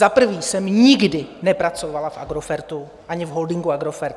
Za prvé jsem nikdy nepracovala v Agrofertu ani v holdingu Agrofert.